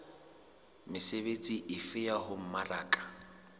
mesebetsi efe ya ho mmaraka